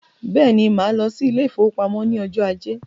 Bẹ́ẹ̀ni, máa lọ sí ile-ìfowópamó ní ọjọ ajé